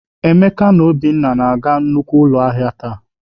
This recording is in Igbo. Emeka na Obinna na-aga nnukwu ụlọ ahịa taa.